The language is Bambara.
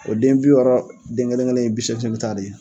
O den bi wɔɔrɔ den kelen kelen ye bi seegin seegin ta de ye.